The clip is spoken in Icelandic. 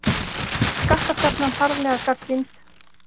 Skattastefnan harðlega gagnrýnd